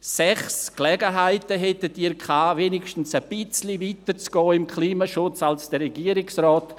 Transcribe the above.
Sechs Gelegenheiten hatten Sie, beim Klimaschutz wenigstens ein bisschen weiter zu gehen als der Regierungsrat.